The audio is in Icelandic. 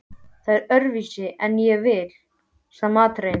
Það er öðruvísi en ég vil, sagði Marteinn.